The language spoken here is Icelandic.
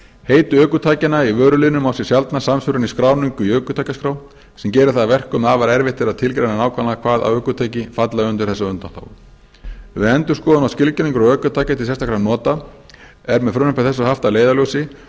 heiti ökutækjanna í vöruliðnum á sér sjaldan samsvörun í skráningu í ökutækjaskrá sem gerir það að verkum að afar erfitt er að tilgreina nákvæmlega hvaða ökutæki falla undir þessa undanþágu við endurskoðun á skilgreiningu ökutækja til sérstakra nota er með frumvarpi þessu haft að leiðarljósi